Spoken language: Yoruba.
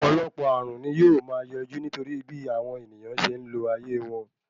Ọ̀pọ̀lọpọ̀ ààrùn ní yóò máa yọjú nítorí bí àwọn ènìyàn ṣe ń lo ayé wọn.